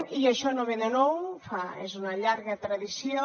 i això no ve de nou és una llarga tradició